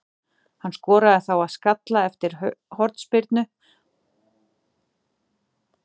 Hann skoraði þá með skalla eftir hornspyrnu á upphafsmínútu síðari hálfleiksins.